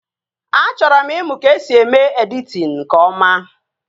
A chọrọ m ịmụ ka esi eme editin nke ọma